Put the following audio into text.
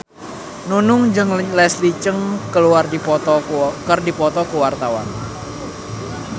Nunung jeung Leslie Cheung keur dipoto ku wartawan